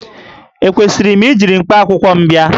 Ekwesịrị m iji mkpakwụkwọ m bịa?